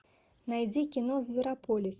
найди кино зверополис